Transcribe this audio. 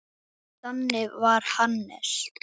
Þannig var Hannes.